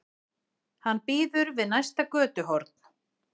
Hann bíður við næsta götuhorn.